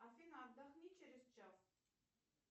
афина отдохни через час